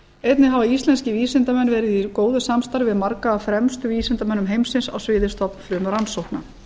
einnig hafa íslenskir vísindamenn verið í góðu samstarfi við marga af fremstu vísindamönnum heimsins á sviði stofnfrumurannsókna